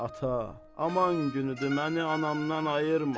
Ata, aman günüdür, məni anamdan ayırma.